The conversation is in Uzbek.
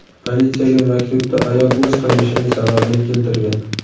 Politsiyaga maktubda ayol o‘z qilmishining sababini keltirgan.